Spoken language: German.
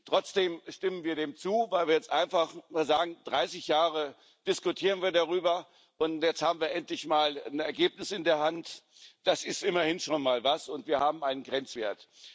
Trotzdem stimmen wir dem zu, weil wir jetzt einfach sagen Dreißig Jahre diskutieren wir darüber, und jetzt haben wir endlich mal ein Ergebnis in der Hand das ist immerhin schon mal was und wir haben einen Grenzwert.